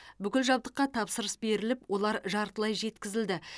бүкіл жабдыққа тапсырыс беріліп олар жартылай жеткізілді